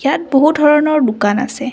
ইয়াত বহুত ধৰণৰ দোকান আছে।